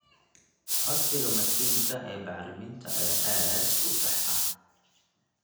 Codsiga mashiinka ee bacriminta ayaa aad u sax ah.